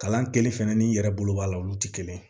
Kalan kelen fɛnɛ n'i yɛrɛ bolo b'a la olu ti kelen ye